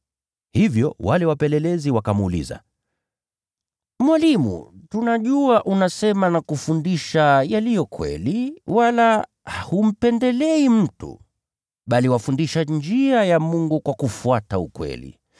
Hivyo wale wapelelezi wakamuuliza, “Mwalimu, tunajua unasema na kufundisha yaliyo kweli wala humpendelei mtu, bali wafundisha njia ya Mungu katika kweli.